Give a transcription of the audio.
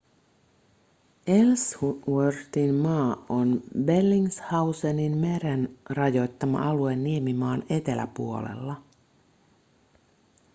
ellsworthinmaa on bellingshauseninmeren rajoittama alue niemimaan eteläpuolella